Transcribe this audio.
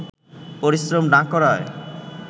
পরিশ্রম না করায়